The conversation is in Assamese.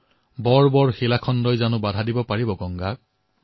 পথ্থৰ কি হস্তি ক্যা বাধা বনকৰ আয়ে